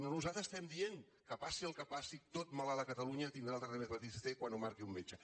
nosaltres estem dient que passi el que passi tot malalt a catalunya tindrà el tractament de l’hepatitis c quan ho marqui un metge